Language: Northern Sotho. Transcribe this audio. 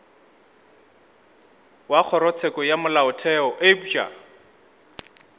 wa kgorotsheko ya molaotheo eupša